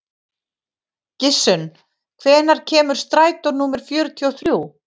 Gissunn, hvenær kemur strætó númer fjörutíu og þrjú?